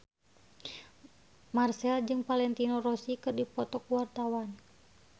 Marchell jeung Valentino Rossi keur dipoto ku wartawan